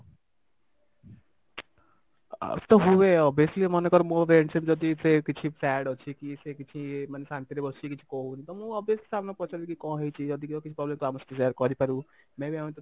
ମନେକର ମୋ friendship ଯଦି ସେ କିଛି sad ଅଛି କି ସେ କିଛି ଇଏ ମାନେ ଶାନ୍ତି ବସିକି କିଛି କହୁନି ତ ମୁଁ obviously ସାଙ୍ଗକୁ ପଚାରିବି କି କଣ ହେଇଛି ଯଦି ତୋର କିଛି problem ଅଛି ତୁ ଆମ ସହ share କରିପାରୁ may be ଆମେ